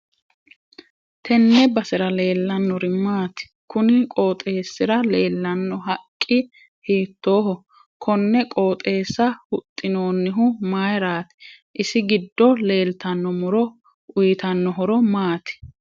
Tenne basera leelanorixhi maati kuni qooxeesira leelanno haqqi hiitooho konne qooxeessa huxinoonihu mayiirati isi giddo leeltano muro uyiitanno horo maati